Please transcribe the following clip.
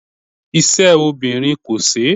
Ise obinrin ko se